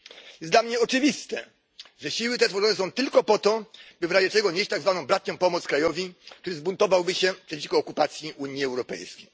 Jest dla mnie oczywiste, że siły te tworzone są tylko po to, by w razie czego nieść tak zwaną bratnią pomoc krajowi, który zbuntowałby się przeciwko okupacji Unii Europejskiej.